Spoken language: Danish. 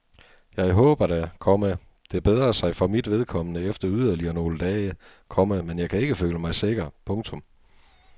Jeg håber da, komma det bedrer sig for mit vedkommende efter yderligere nogle dage, komma men jeg kan ikke føle mig sikker. punktum